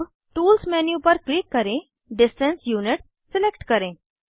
अब tools menu पर click करें डिस्टेंस यूनिट्स सिलेक्ट करें